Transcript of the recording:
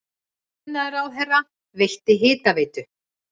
Iðnaðarráðherra veitti Hitaveitu